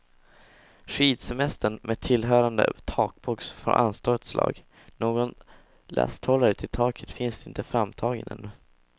Skidsemestern med tillhörande takbox får anstå ett slag, någon lasthållare till taket finns inte framtagen ännu.